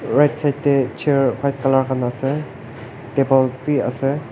right side tey chair white color khan ase table bi ase.